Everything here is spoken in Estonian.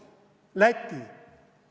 Läti?